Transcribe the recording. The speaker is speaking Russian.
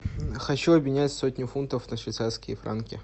хочу обменять сотню фунтов на швейцарские франки